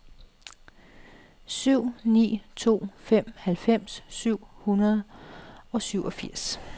syv ni to fem halvfems syv hundrede og syvogfirs